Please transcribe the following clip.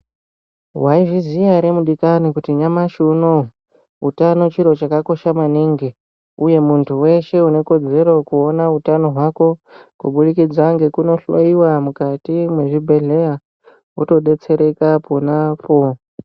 Waizviziya ere mudikani kuti nyamashi unou utano chiro chakakosha maningi uye muntu weshe unekodzero kuona hutano hwako kubudikidza ngekunohloiwa mukati mwezvibhedhlera wotodetsereka ponapo.